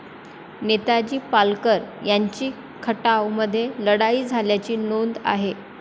नेताजी पालकर यांची खटाव मध्ये लढाई झाल्याची नोंद आहे.